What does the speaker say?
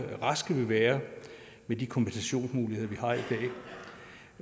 raske vil være med de kompensationsmuligheder vi har i